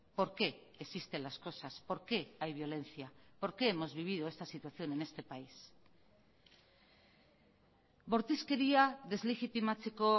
por qué existen las cosas por qué hay violencia por qué hemos vivido esta situación en este país bortizkeria deslegitimatzeko